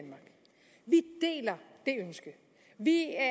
ønske vi er